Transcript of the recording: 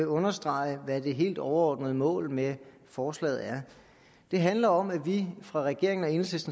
understrege hvad det helt overordnede mål med forslaget er det handler om at vi fra regeringens